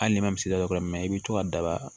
Hali n'i ma misi da yɔrɔ min ma i bɛ to ka daba